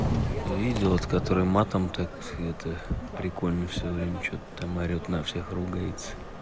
везёт который матом так это прикольно всё время что-то там орет на всех ругается